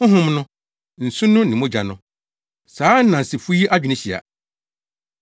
Honhom no, nsu no ne mogya no. Saa nnansefo yi adwene hyia.